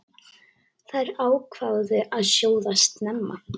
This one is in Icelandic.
Þær ákváðu að sjóða snemma.